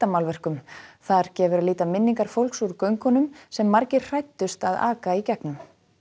klettamálverkum þar gefur að líta minningar fólks úr göngunum sem margir hræddust að aka í gegnum